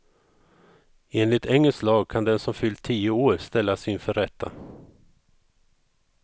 Enligt engelsk lag kan den som fyllt tio år ställas inför rätta.